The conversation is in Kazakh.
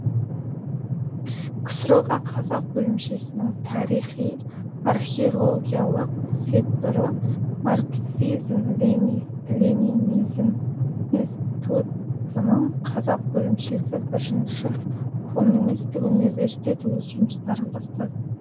ксро ға қазақ бөлімшесінің тарихи археологиялық секторы марксизм ленинизм институтының қазақ бөлімшесі бірінші коммунистік университет өз жұмыстарын бастады